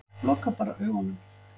Loka bara augunum.